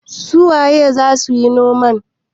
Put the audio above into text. su waye za su yi noman?